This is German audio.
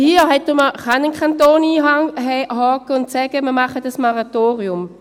Hier kann ein Kanton einhaken und sagen: «Wir machen ein Moratorium.»